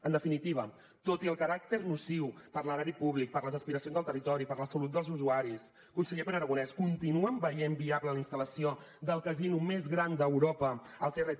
en definitiva tot i el caràcter nociu per a l’erari públic per a les aspiracions del territori per a la salut dels usuaris conseller pere aragonès continuen veient viable la instal·lació del casino més gran d’europa al crt